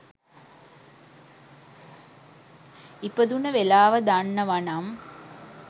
ඉපදුන වෙලාව දන්නවනම්